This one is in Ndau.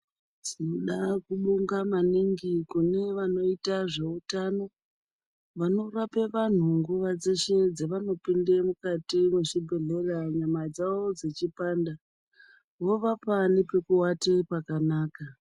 Tinoda kubonga maningi kune vanoita zveutano ,vanorape vanhu nguva dzeshe dzevanopinde mukati mwechibhedhleya, nyama dzavo dzechipanda, vovapa nepekuwate pakanaka.